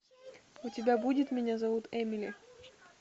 у тебя будет меня зовут эмили